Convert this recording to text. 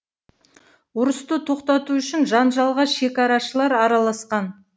ұрысты тоқтату үшін жанжалға шекарашылар араласқан